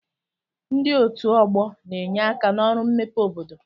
Ndi otu ọgbọ na-enye aka n'ọrụ mmepe obodo